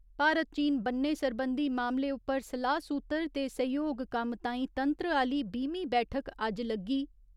भारत चीन बन्ने सरबंधी मामले उप्पर सलाह सूत्तर ते सैह्‌योग कम्म तांई तंत्र आह्‌ली बीह्‌मीं बैठक अज्ज लग्गी।